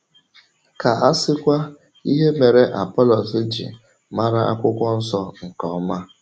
Ka a sịkwa ihe mere Apọlọs ji ‘màrà Akwụkwọ Nsọ nke ọma’!